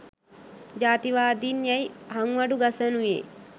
ජාතිවාදින් යැයි හංවඩු ගසනුයේ